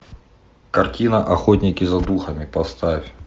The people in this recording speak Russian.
картина охотники за духами поставь